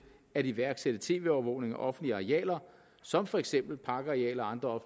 at iværksætte tv overvågning af offentlige arealer som for eksempel parkarealer og andre